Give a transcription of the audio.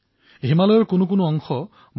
এই সপোনেইতো আমাৰ সংবিধা প্ৰণেতাসকলে দেখিছিল